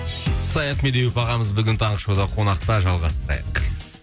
саят медеуов ағамыз бүгін таңғы шоуда қонақта жалғастырайық